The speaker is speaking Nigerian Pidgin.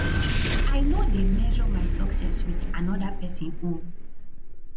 i no dey measure my success wit anoda pesin own